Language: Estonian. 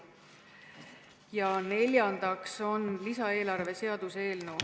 Ja neljandaks on lisaeelarve seaduse eelnõu.